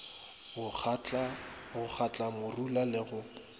go kgatla marula le go